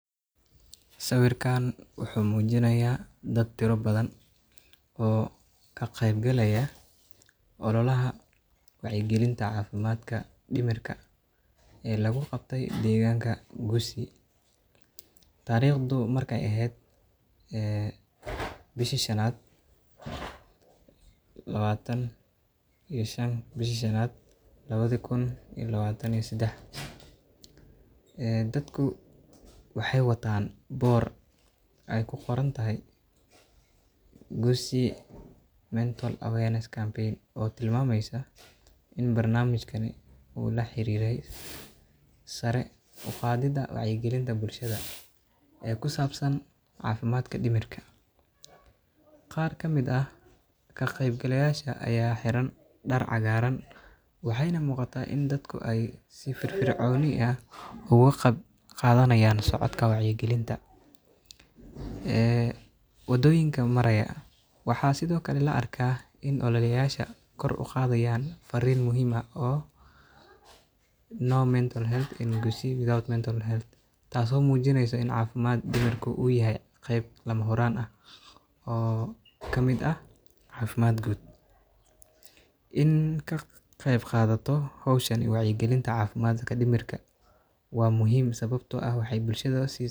Sawiirkaan wuxuu mujinaaya dad tira badan oo ka qeyb galaaya ololaha wacyi galinta cafimaadka dimirka oo lagu qabte deeganka gusii, tariqdu markeey eheed bisha shanad labaatan iyo shan labadi kun iyo labaatan iyo sedex, dadku waxeey wataan boor aay ku qoran tahay gusii mental health campaign oo tilmaameyso in barnamijada uu la xariiro sare uqadida wacyi galinta bulshada ee kusabsan cafimaadk dimirta, qaar kamid ah ka qeyb galayaasha ayaa xiran dar cagaaran, waxeeyna muuqata in dadka si firfircoon ah ugu qeyb qadanaaya, wadoyinka maraaya, waxaa la arkaa in kor uqadayaan fariin taas oo mujineyso inaay tahay qeyb lama huraan ah, in laga qeyb qaato howshan waa muhiim.